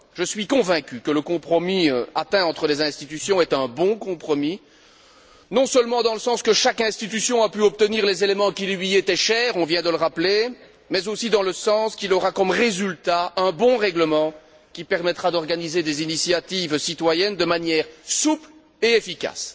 Je suis convaincu que le compromis atteint entre les institutions est un bon compromis, non seulement dans le sens où chaque institution a pu obtenir les éléments qui lui étaient chers on vient de le rappeler mais aussi dans le sens où il aura comme résultat, un bon règlement qui permettra d'organiser des initiatives citoyennes de manière souple et efficace.